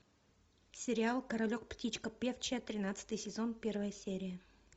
сериал королек птичка певчая тринадцатый сезон первая серия